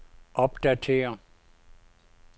opdatér